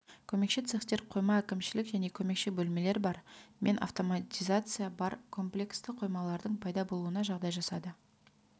көмекші цехтер қойма әкімшілік және көмекші бөлмелер бар мен автоматизациясы бар комплексті қоймалардың пайда болуына жағдай жасады